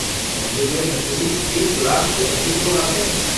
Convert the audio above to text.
मंदिर में प्रतिदिन एक लाख से अधिक लोग आते हैं।